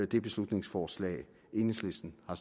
det beslutningsforslag enhedslisten har